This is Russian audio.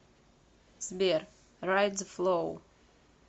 сбер райд зэ флоу